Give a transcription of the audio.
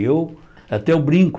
E eu até eu brinco.